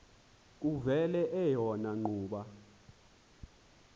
kuvele eyona ngxuba